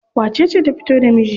Wacece ta fito da miji?